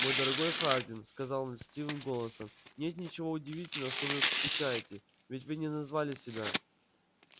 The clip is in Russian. мой дорогой хардин сказал он льстивым голосом нет ничего удивительного что вы скучаете ведь вы не назвали себя